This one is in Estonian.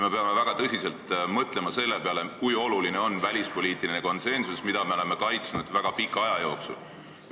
Me peame väga tõsiselt mõtlema selle peale, kui oluline on välispoliitiline konsensus, mida me oleme väga pika aja jooksul kaitsnud.